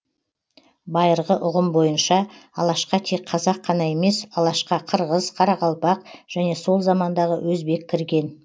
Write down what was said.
байырғы ұғым бойынша алашқа тек қазақ қана емес алашқа қырғыз қарақалпақ және сол замандағы өзбек кірген